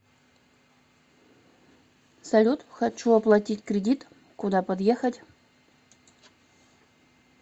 салют хочу оплатить кредит куда подъехать